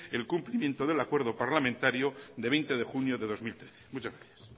el cumplimiento del acuerdo parlamentario de veinte de junio de dos mil trece muchas gracias